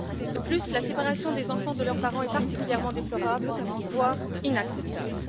De plus, la séparation des enfants de leurs parents est particulièrement déplorable, voire inacceptable.